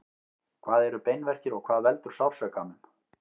hvað eru beinverkir og hvað veldur sársaukanum